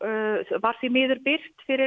var því miður birt fyrir